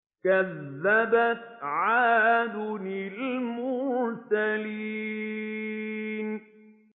كَذَّبَتْ عَادٌ الْمُرْسَلِينَ